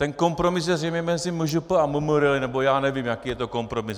Ten kompromis je zřejmě mezi MŽP a MMR, nebo já nevím, jaký je to kompromis.